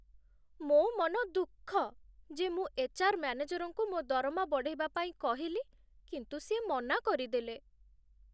ମୋ' ମନ ଦୁଃଖ ଯେ ମୁଁ ଏଚ୍.ଆର୍. ମ୍ୟାନେଜରଙ୍କୁ ମୋ' ଦରମା ବଢ଼େଇବା ପାଇଁ କହିଲି, କିନ୍ତୁ ସିଏ ମନା କରିଦେଲେ ।